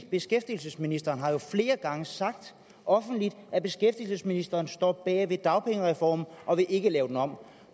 beskæftigelsesministeren har jo flere gange sagt offentligt at beskæftigelsesministeren står bag dagpengereformen og ikke vil lave den om